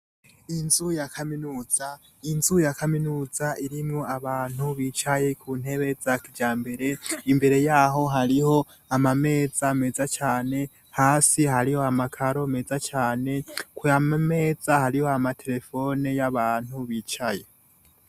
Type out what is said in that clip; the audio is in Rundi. Inzu ya kaminuza, inzu ya kaminuza irimw abantu bicaye ku ntebe rya mbere imbere yaho hariho amameza meza cane hasi hariho amakaro meza cane ku yameza hariho amaterefone y'abantu bicaye.